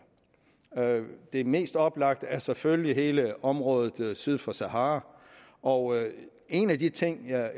det mest oplagte er selvfølgelig hele området syd for sahara og en af de ting jeg